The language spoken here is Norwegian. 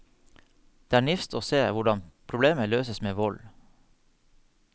Det er nifst å se hvordan problemer løses med vold.